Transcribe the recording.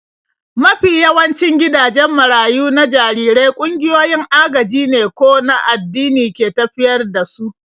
Mafi yawancin gidajen marayu na jarirai ƙungiyoyin agajine ko an addini ke tafiyar da su.